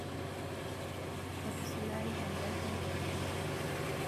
etusulari eng'arri